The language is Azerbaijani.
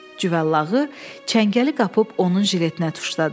Cüvəllağı çəngəli qapıb onun jiletinə tuşladı.